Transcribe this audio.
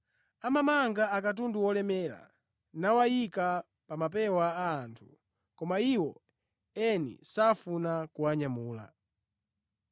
Amamanga akatundu olemera nawayika pa mapewa a anthu, koma iwo eni safuna kuwanyamula.